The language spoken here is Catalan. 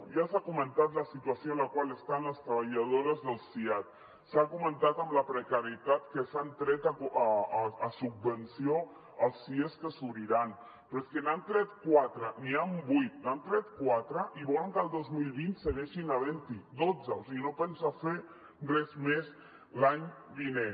ja s’ha comentat la situació en la qual estan les treballadores del siad s’ha comentat la precarietat amb què s’han tret a subvenció els sies que s’obriran però és que n’han tret quatre n’hi han vuit n’han tret quatre i volen que el dos mil vint segueixin havent n’hi dotze o sigui no pensen fer res més l’any vinent